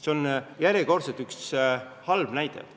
See on järjekordne halb näide.